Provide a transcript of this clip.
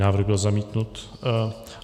Návrh byl zamítnut.